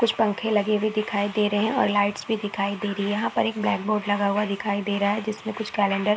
कुछ पंखे लगे भी दिखाई दे रहे हैं और लाइट्स भी दिखाई दे रही है यहाँ पर एक ब्लैक बोर्ड लगा हुआ दिखाई दे रहा है जिसमें कुछ कैलन्डर --